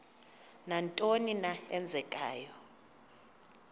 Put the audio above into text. nantoni na eenzekayo